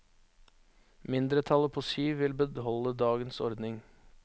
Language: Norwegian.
Mindretallet på syv vil beholde dagens ordning.